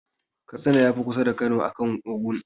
Katsina ya fi kusa da Kano akan Ogun.